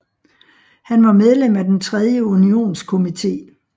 Han var medlem af den tredje unionskomité